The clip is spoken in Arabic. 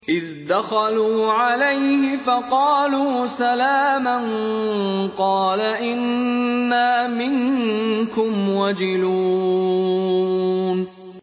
إِذْ دَخَلُوا عَلَيْهِ فَقَالُوا سَلَامًا قَالَ إِنَّا مِنكُمْ وَجِلُونَ